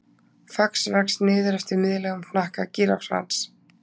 Fax vex niður eftir miðlægum hnakka gíraffans.